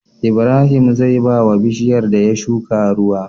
Ibrahim zai bawa bishiyar da ya shuka ruwa